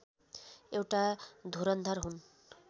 एउटा धुरन्धर हुन्